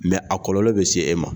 a kɔlɔlɔ bɛ se e ma.